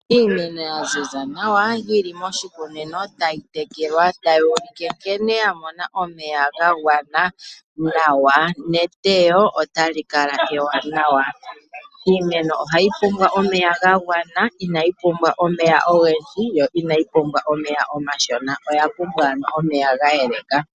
Iimeno ya ziza nawa, yi li moshikunino tayi tekelwa, tayi ulike nkene ya mona omeya ga gwana nawa neteyo otali kala ewanawa. Iimeno ohayi pumbwa omeya ga gwana. Inayi pumbwa omega ogendji, yo inayi pumbwa omeya omashona. Oya pumbwa ano omeya ga yeleka.